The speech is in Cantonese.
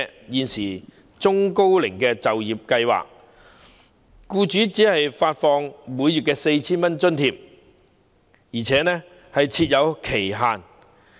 現行中高齡就業計劃下，僱主只獲發每名僱員每月 4,000 元津貼，而且設有期限。